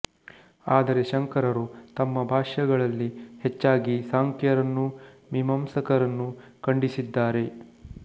ಆದರೆ ಶಂಕರರು ತಮ್ಮ ಭಾಷ್ಯಗಳಲ್ಲಿ ಹೆಚ್ಚಾಗಿ ಸಾಂಖ್ಯರನ್ನೂ ಮೀಮಾಂಸಕರನ್ನೂ ಖಂಡಿಸಿದ್ದಾರೆ